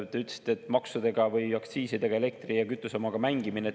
Te ütlesite, et me mängime elektri‑ ja kütuseaktsiisidega.